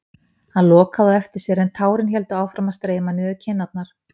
Hann lokaði á eftir sér en tárin héldu áfram að streyma niður kinnarnar.